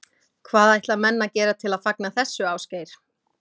Hvað ætla menn að gera til að fagna þessu, Ásgeir?